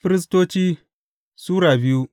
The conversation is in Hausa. Firistoci Sura biyu